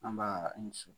An b'a ni susu